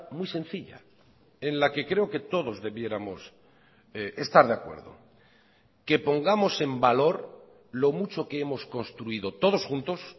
muy sencilla en la que creo que todos debiéramos estar de acuerdo que pongamos en valor lo mucho que hemos construido todos juntos